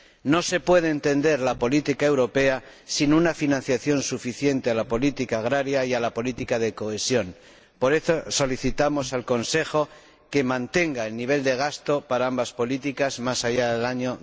No se puede entender la política europea sin una financiación suficiente de la política agraria y la política de cohesión. Por eso, solicitamos al Consejo que mantenga el nivel de gasto para ambas políticas más allá del año